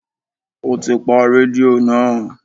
O ti pa rédíò náà.